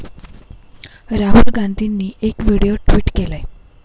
राहुल गांधींनी एक video tweet केलाय.